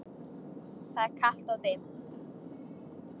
Það er kalt og dimmt.